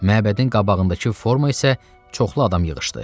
Məbədin qabağındakı forma isə çoxlu adam yığışdı.